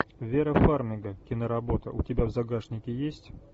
вера фармига киноработа у тебя в загашнике есть